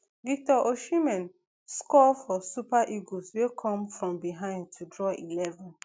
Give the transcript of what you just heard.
victor osimhen score for super eagles wey come from behind to draw eleven